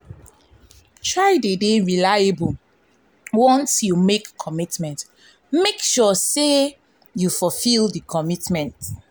try de reliable once you make commitment make sure say you fulfil di commitment